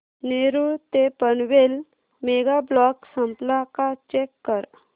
नेरूळ ते Panvel mega block संपला का चेक कर